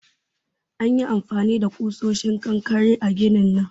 An yi amfani da kusoshin kankare a ginin nan